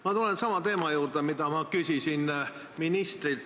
Ma tulen sama teema juurde, mille kohta ma küsisin ministrilt.